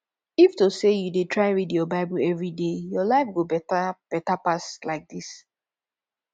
if to say you dey try read your bible everyday your life go better better pass like dis